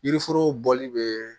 Yiriforo bɔli bɛ